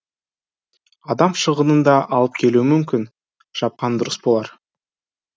адам шығынын да алып келуі мүмкін жапқан дұрыс болар